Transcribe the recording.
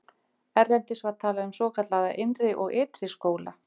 erlendis var talað um svokallaða innri og ytri skóla